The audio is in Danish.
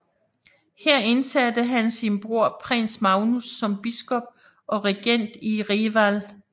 Her indsatte han sin bror prins Magnus som biskop og regent i Reval